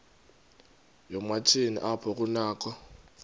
yoomatshini apho kunakho